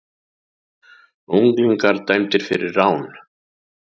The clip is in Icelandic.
Unglingar dæmdir fyrir rán